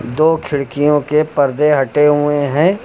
दो खिड़कियों के पर्दे हटे हुए हैं।